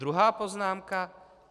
Druhá poznámka.